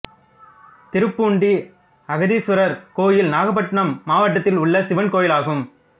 திருப்பூண்டி அகத்தீசுவரர் கோயில் நாகப்பட்டினம் மாவட்டத்தில் உள்ள சிவன் கோயிலாகும்